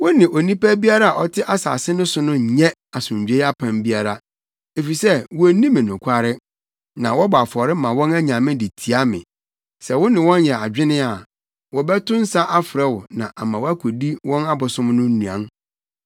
“Wo ne onipa biara a ɔte asase no so nnyɛ asomdwoe apam biara, efisɛ wonni me nokware, na wɔbɔ afɔre ma wɔn anyame de tia me. Sɛ wo ne wɔn yɛ adwene a, wɔbɛto nsa afrɛ wo ama woakodi wɔn abosom so nnuan.